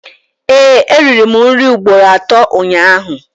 Ee, eriri m nri ugboro atọ ụnyaahụ